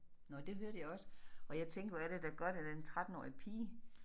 Nåh det hørte jeg også og jeg tænkte hvor er det da godt at den 13-årige pige